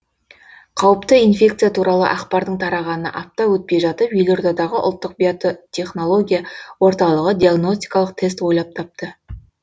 қауіпті инфекция туралы ақпардың тарағанына апта өтпей жатып елордадағы ұлттық био технология орталығы диагностикалық тест ойлап тапты